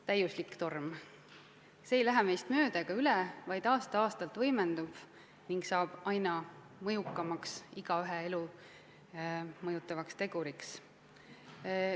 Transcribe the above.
Täiuslik torm – see ei lähe meist mööda ega üle, vaid aasta-aastalt võimendub ning saab aina tugevamaks igaühe elu mõjutavaks teguriks.